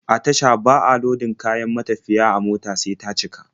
A tasha ba a lodin kayan matafiya a mota sai ta cika.